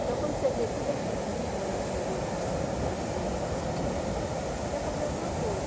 Então, quando você vê tudo aquilo lindo, maravilhoso, do século dezesseis, aqueles cantos glori, você quer fazer alguma coisa.